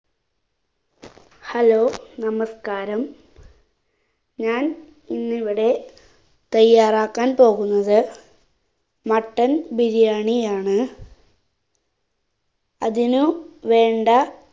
hello നമസ്ക്കാരം ഞാൻ ഇന്നിവിടെ തയ്യാറാക്കാൻ പോകുന്നത് mutton ബിരിയാണി ആണ് അതിനു വേണ്ട